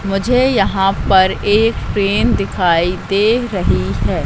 मुझे यहां पर एक पेन दिखाई दे रही है।